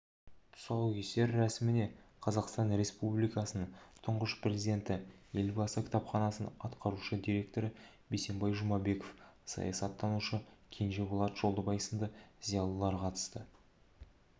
тұсаукесер рәсіміне қазақстан республикасының тұңғыш президенті елбасы кітапханасының атқарушы директоры бейсенбай жұмабеков саясаттанушы кенжеболат жолдыбай сынды зиялы қауым өкілдері қатысып